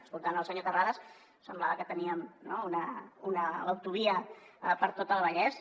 escoltant el senyor terrades semblava que teníem una autovia per a tot el vallès